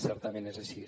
certament és així